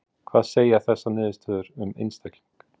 Kjartan: Hvað segja þessar niðurstöður um einstakling?